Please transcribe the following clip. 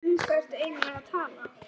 Um hvað ertu eigin lega að tala?